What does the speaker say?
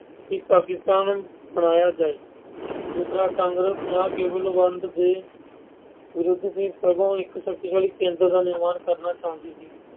ਕਿ ਪਾਕਿਸਤਾਨ ਬਣਾਇਆ ਜਾਵੇ। ਦੂਸਰਾ ਕਾਂਗਰਸ ਨਾ ਕੇਵਲ ਵੰਡ ਦੇ ਵਿਰੁੱਧ ਦੀ, ਸਗੋਂ ਇੱਕ ਸ਼ਕਤੀਸ਼ਾਲੀ ਕੇਂਦਰ ਦਾ ਨਿਰਮਾਣ ਕਰਨਾ ਚਾਹੁੰਦੀ ਸੀ।